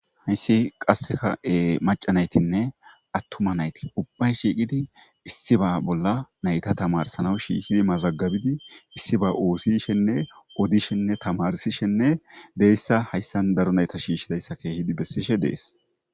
Haysi qaseka mac'a naytine attuma nayti ubbay shiqidi issiba bolla nayta tamarsanaw shishidi mazagibidi issiba othishe odishe tamarsishene beysa Hasan daro nayta shishidaysa kehidi besidhe Des.